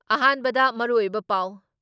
ꯑꯍꯥꯟꯕꯗ ꯃꯔꯨꯑꯣꯏꯕ ꯄꯥꯎ